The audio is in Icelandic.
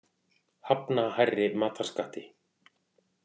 Hafna hærri matarskatti